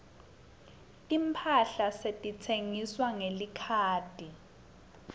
timphahla setitsengwa ngelikhadi